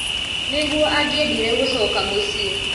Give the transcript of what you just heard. nĩguo angĩendire gũcoka mũciĩ